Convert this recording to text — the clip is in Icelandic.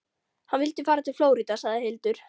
Hann vildi fara til Flórída, sagði Hildur.